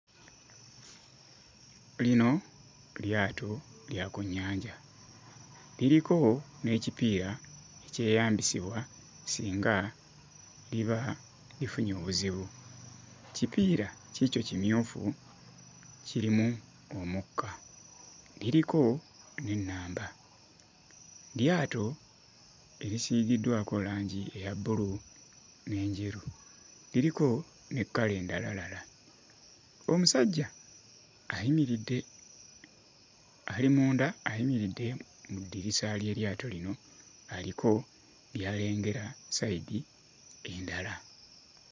Lino lyato lya ku nnyanja. Liriko n'ekipiira ekyeyambisibwa singa liba lifunye obuzibu. Kipiira kiikyo kimyufu kirimu omukka. Liriko n'ennamba. Lyato erisiigiddwako langi eya bbulu n'enjeru, liriko ne kkala endalalala. Omusajja ayimiridde, ali munda ayimiridde mu ddirisa ly'eryato lino aliko by'alengera sayidi endala.